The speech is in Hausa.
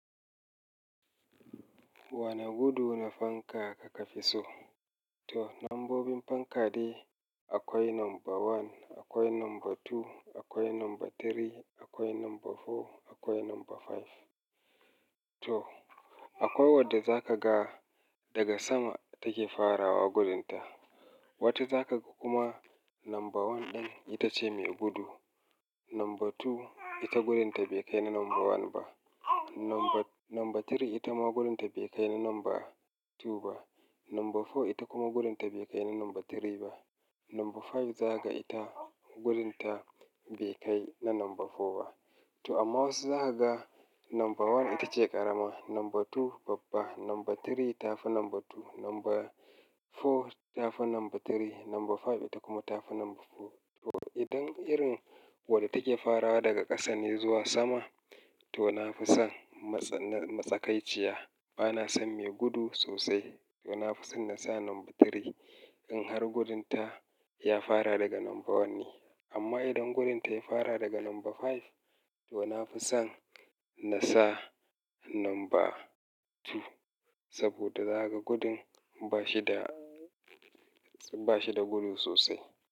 Wana gudu na fanka kaka fi so? To, lambobin fankade akwai number one, akwai number two, akwai number three, akwai number four, akwai number five. To, akwai wadda za ka ga daga sama take farawa gudunta. Wacce za ka kuma number one ɗin ita ce mai gudu. Number two ita gudunta bai kai na number one ba. Number, number three ita ma gudunta bai kai na number two ba. Number four ita kuma gudunta bai kai na number three ba. Number five za ka ita gudunta bai kai na number four ba. To, amma wasu za ka ga number one ita ce ƙarama, number two babba, number three ta fi number two, number four ta fi number three, number five ita kuma ta fi number four. To, idan irin wadda take farawa daga ƙasa ne zuwa sama, to na fi san mats-na-matsakaiciya. Bana san mai gudu sosai. To, na fi san na sa number three in har gudunta ya fara daga number one ne. Amma idan gudunta ya fara daga number five, to na fi san na sa number two. Saboda za ka gudun ba shi da, ba shi da gudu sosai.